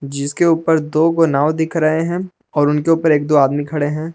जिसके ऊपर दो क नाव दिख रहे हैं और उनके ऊपर एक दो आदमी खड़े हैं।